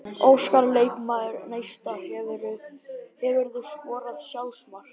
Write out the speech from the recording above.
Óskar leikmaður Neista Hefurðu skorað sjálfsmark?